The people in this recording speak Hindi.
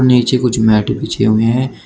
नीचे कुछ मैट बिछे हुए हैं।